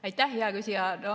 Aitäh, hea küsija!